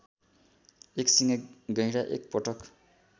एकसिङे गैंडा एकपटक